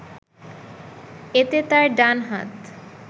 এতে তার ডান হাত